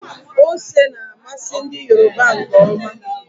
Ose na-amasị ndi Yoruba nke ọma.